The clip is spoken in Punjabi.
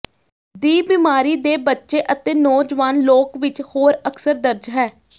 ਦੀ ਬਿਮਾਰੀ ਦੇ ਬੱਚੇ ਅਤੇ ਨੌਜਵਾਨ ਲੋਕ ਵਿੱਚ ਹੋਰ ਅਕਸਰ ਦਰਜ ਹੈ